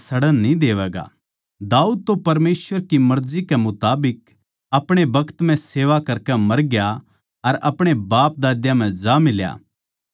दाऊद तो परमेसवर की मर्जी कै मुताबिक अपणे बखत म्ह सेवा करकै मर गया अर अपणे बापदाद्या म्ह जा मिल्या अर सड़ भी गया